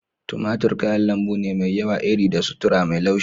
Tumatir kayan lambu ne mai yawa iri da sutura mai laushi.